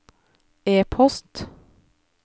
e-post